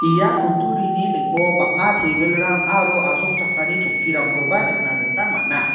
ia kutturini ning·o bang·a tebilrang aro asongchakani chokkirangkoba nikna gita man·a.